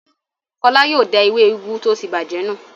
Fọlá yóò da ewé úgú tó ti bàjẹ́ nù.